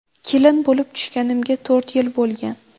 Kelin bo‘lib tushganimga to‘rt yil bo‘lgan.